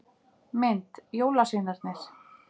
Mynd: Jólasveinarnir.